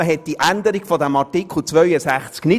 Man wollte die Änderung dieses Artikels 63 nicht.